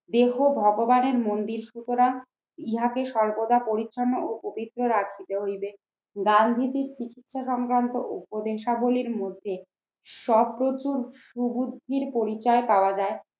দেহ ভগবানের মন্দির সুতরাং ইহাকে সর্বদা পরিচ্ছন্ন ও পবিত্র রাখিতে হইবে। গান্ধীজী চিকিৎসা সংক্রান্ত উপদেশাবলীর মধ্যে সুবুদ্ধির পরিচয় পাওয়া যায়।